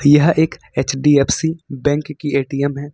यह एक HDFC bank की ए_टी_एम है।